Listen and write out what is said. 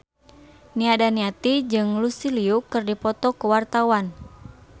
Nia Daniati jeung Lucy Liu keur dipoto ku wartawan